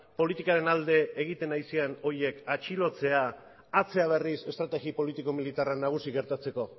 politikaren alde egiten ari ziren horiek atxilotzea atzera berriz estrategi politiko militarra nagusi gertatzeko